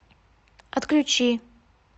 отключи